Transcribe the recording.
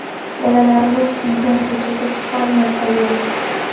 Bolalarimiz uydan ko‘chaga chiqolmay qolgan.